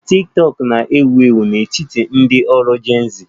Tiktokụ na-ewu ewu n'etiti ndị ọrụ Gen z